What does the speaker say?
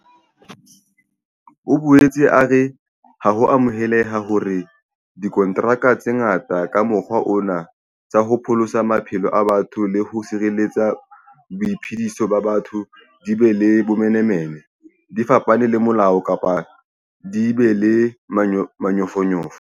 O boetse a re ha ho amoheleha hore dikontraka tse ngata ka mokgwa ona tsa ho pholosa maphelo a batho le ho sireletsa boiphediso ba batho di be le bomenemene, di fapane le molao kapa di be le manyofonyofo.